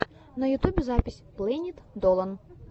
на ютубе запись плэнит долан